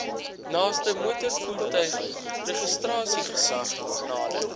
naaste motorvoertuigregistrasiegesag nader